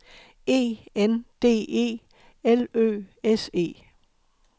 E N D E L Ø S E